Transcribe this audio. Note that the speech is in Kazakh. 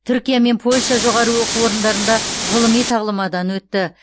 түркия мен польша жоғары оқу орындарында ғылыми тағлымадан өтті